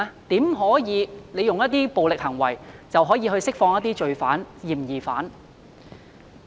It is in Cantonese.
怎可用暴力行為要求釋放罪犯、嫌疑犯？